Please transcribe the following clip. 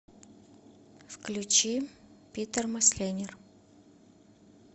включи питер мосленер